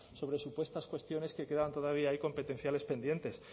sobre supuestas cuestiones que quedan todavía ahí competenciales pendientes